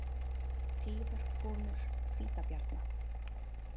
Tíðar komur hvítabjarna